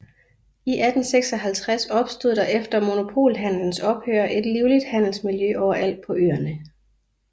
I 1856 opstod der efter monopolhandelens ophør et livligt handelsmiljø overalt på øerne